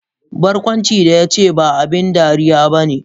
Barkwancin da ya ce, ba abin dariya ba ne.